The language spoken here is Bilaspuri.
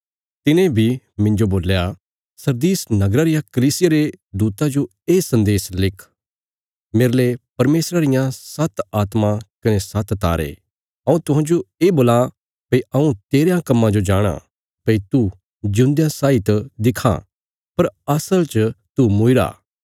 तिने बी मिन्जो बोल्या सरदीस नगरा रिया कलीसिया रे दूता जो ये सन्देश लिख मेरले परमेशरा रियां सात्त आत्मां कने सात्त तारे हऊँ तुहांजो ये बोलां भई हऊँ तेरयां कम्मां जो जाणाँ भई तू जिऊंदेयां साई त दिखां पर असल च तू मूईरा